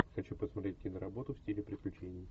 хочу посмотреть киноработу в стиле приключений